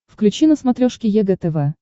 включи на смотрешке егэ тв